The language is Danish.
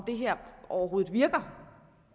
det her overhovedet virker